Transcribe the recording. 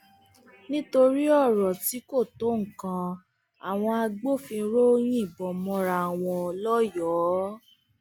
nítorí ọrọ tí kò tó nǹkan àwọn agbófinró yìnbọn mọra wọn lọyọọ